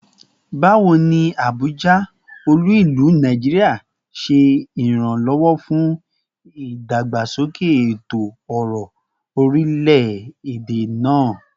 Bawo ni Abuja, olu-ilu Naijiria, ṣe iranlọwọ fun idagbasoke eto-ọrọ orilẹ-ede naa?